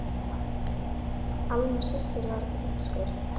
Alma systir var að fá úrskurð.